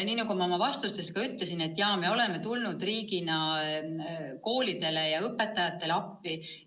Nagu ma oma vastustes ütlesin, riik on koolidele ja õpetajatele appi tulnud.